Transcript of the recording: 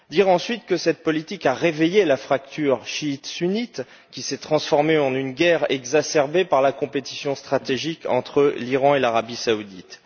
Ensuite, cette politique a réveillé la fracture chiite sunnite, qui s'est transformée en une guerre exacerbée par la concurrence stratégique entre l'Iran et l'Arabie saoudite.